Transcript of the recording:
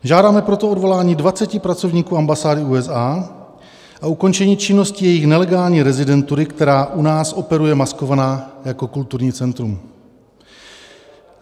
Žádáme proto odvolání 20 pracovníků ambasády USA a ukončení činnosti jejich nelegální rezidentury, která u nás operuje maskovaná jako kulturní centrum.